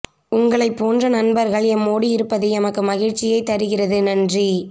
உங்களை போன்ற நண்பர்கள் எம்மோடு இருப்பது எமக்கு மகிழ்ச்சியை தருகிறது நன்றி